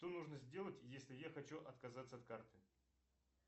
что нужно сделать если я хочу отказаться от карты